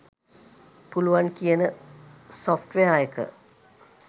පුළුවන් කියන සොෆ්ට්වෙයාර් එක.